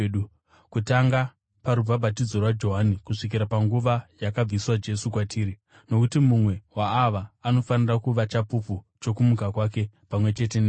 kutanga parubhabhatidzo rwaJohani kusvikira panguva yakabviswa Jesu kwatiri. Nokuti mumwe waava anofanira kuva chapupu chokumuka kwake, pamwe chete nesu.”